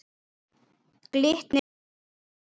Glitnir er inn tíundi